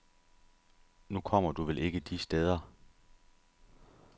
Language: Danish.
Nu kommer du vel ikke de steder.